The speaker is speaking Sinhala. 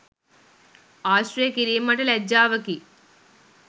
ආශ්‍රය කිරීම මට ලැජ්ජාවකි